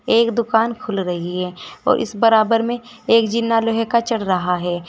एक दुकान खुल रही है और इस बराबर में एक जिन्ना लोहे का चढ़ रहा है।